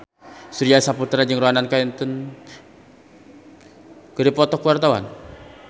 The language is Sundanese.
Surya Saputra jeung Ronan Keating keur dipoto ku wartawan